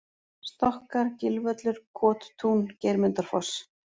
Stokkar, Gilvöllur, Kottún, Geirmundarfoss